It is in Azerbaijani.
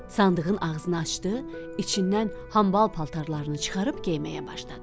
Sandığın ağzını açdı, içindən hambal paltarlarını çıxarıb geyməyə başladı.